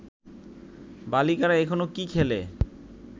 বালিকারা এখনও কি খেলে